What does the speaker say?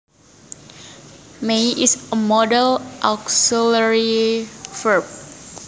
May is a modal auxiliary verb